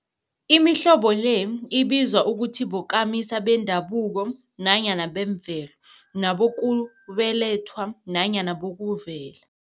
Imihlobo le ibizwa ukuthi bokamisa bendabuko nanyana bemvelo, nabokubelethwa nanyana bokuvela.